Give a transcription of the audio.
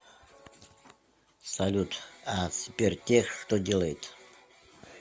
салют а сбертех что делает